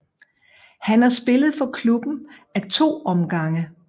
Han har spillet for klubben af to omgange